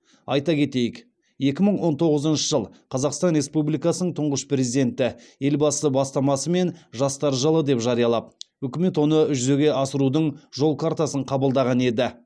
айта кетейік екі мың он тоғызыншы жыл қазақстан республикасының тұңғыш президенті елбасы бастамасымен жастар жылы деп жариялап үкімет оны жүзеге асырудың жол картасын қабылдаған еді